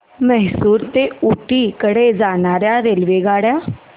म्हैसूर ते ऊटी कडे जाणार्या रेल्वेगाड्या